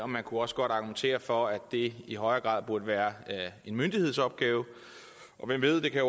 man kunne også godt argumentere for at det i højere grad burde være en myndighedsopgave og hvem ved det kan